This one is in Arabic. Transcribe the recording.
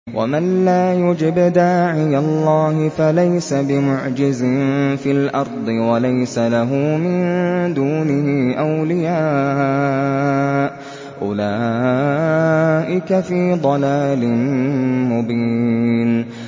وَمَن لَّا يُجِبْ دَاعِيَ اللَّهِ فَلَيْسَ بِمُعْجِزٍ فِي الْأَرْضِ وَلَيْسَ لَهُ مِن دُونِهِ أَوْلِيَاءُ ۚ أُولَٰئِكَ فِي ضَلَالٍ مُّبِينٍ